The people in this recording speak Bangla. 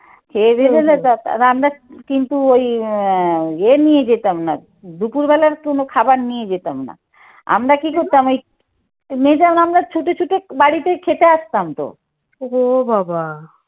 খেয়ে দেয়ে আর আমরা কিন্তু ওই আহ ইয়ে নিয়ে যেতাম না দুপুরবেলা কোন খাবার নিয়ে যেতাম না। আমরা কি করতাম এই মেজাম আমরা ছুটে ছুটে বাড়িতে খেতে আসতাম তো।